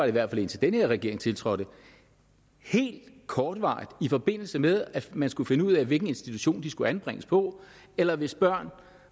i hvert fald indtil denne regering tiltrådte helt kortvarigt i forbindelse med at man skulle finde ud af hvilken institution de skulle anbringes på eller hvis børn